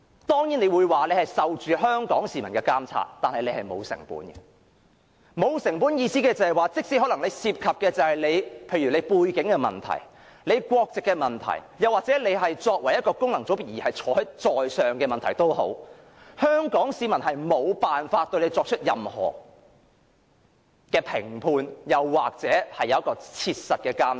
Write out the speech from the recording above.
當然，主席會說自己受香港市民的監察，但他是沒有成本的，沒有成本的意思是，即使他可能涉及背景的問題、國籍的問題，又或是他作為功能界別議員卻可坐上主席之位的問題，香港市民也無法對他作出任何批判或切實的監察。